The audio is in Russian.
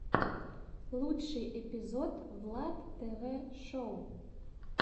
лучший эпизод влад тв шоу